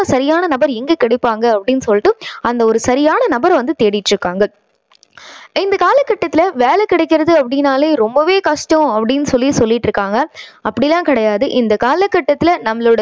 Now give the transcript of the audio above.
சரியான நபர் எங்க கிடைப்பாங்க அப்படின்னு சொல்லிட்டு அந்த ஒரு சரியான நபரை வந்து தேடிட்டு இருக்காங்க. இந்தக் காலக் கட்டத்துல வேலை கிடைக்குறது அப்படின்னாலே ரொம்பவே கஷ்டம் அப்படின்னு சொல்லி சொல்லிட்டு இருக்காங்க. அப்படியெல்லாம் கிடையாது. இந்த கால கட்டத்துல நம்மளோட